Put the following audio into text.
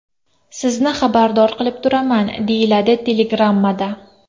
Sizni xabardor qilib turaman”, deyiladi telegrammada.